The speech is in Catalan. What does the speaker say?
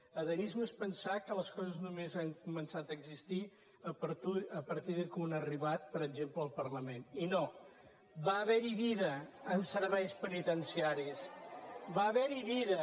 ada·misme és pensar que les coses només han començat a existir a partir que un ha arribat per exemple al par·lament i no va haver·hi vida en serveis penitenciaris va haver·hi vida